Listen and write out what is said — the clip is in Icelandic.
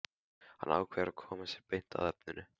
Hann ákveður að koma sér beint að efninu.